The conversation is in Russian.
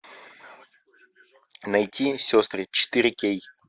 найти сестры четыре кей